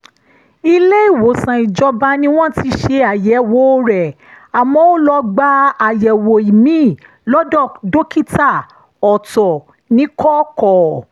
ilé-ìwòsàn ìjọba ni wọ́n ti ṣe àyẹ̀wò rẹ̀ àmọ́ ó lọ gba àyẹ̀wò ìmíì lọ́dọ̀ dókítà ọ̀tọ̀ níkọ̀kọ̀